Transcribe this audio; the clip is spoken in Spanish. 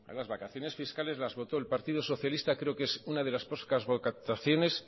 las vacaciones fiscales las votó el partido socialista creo que es una de las pocas votaciones